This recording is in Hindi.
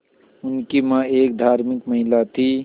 उनकी मां एक धार्मिक महिला थीं